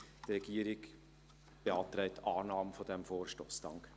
Die Regierung beantragt Annahme des Vorstosses.